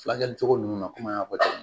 Fulakɛli cogo nun na kɔmi n y'a fɔ cogo min na